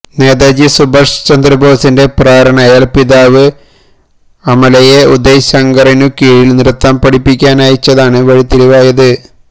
നേതാജി സുഭാഷ് ചന്ദ്രബോസിന്റെ പ്രേരണയാൽ പിതാവ് അമലയെ ഉദയ് ശങ്കറിനു കീഴിൽ നൃത്തം പഠിപ്പിക്കാനയച്ചതാണ് വഴിത്തിരിവായത്